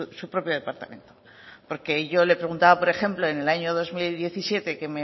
su propio departamento porque yo le preguntaba por ejemplo en el año dos mil diecisiete que